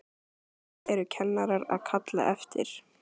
Hverju eru kennarar að kalla eftir?